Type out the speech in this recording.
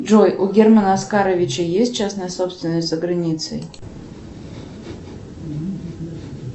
джой у германа аскаровича есть частная собственность за границей